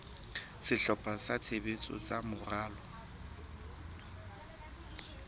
sehlopha sa tshebetso sa moralo